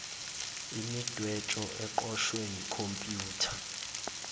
imidwebo eqoshwe yikhompyutha